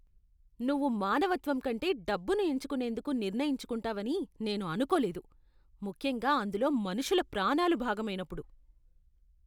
నువ్వు మానవత్వం కంటే డబ్బును ఎంచుకునేందుకు నిర్ణయించుకుంటావని నేను అనుకోలేదు ముఖ్యంగా అందులో మనుషుల ప్రాణాలు భాగమైనప్పుడు.